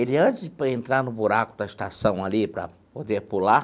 Ele antes para entrar no buraco da estação ali para poder pular,